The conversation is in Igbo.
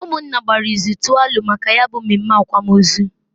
Umunna gbara ịzụ tụọ alo maka ya bu mmemme akwamozu.